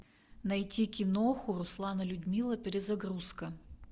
найти киноху руслан и людмила перезагрузка